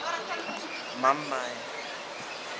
Með hægri hendi nuddaði hann á sér auga.